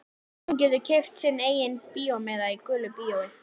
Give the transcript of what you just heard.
Og hún getur keypt sinn eigin bíómiða í gulu bíói.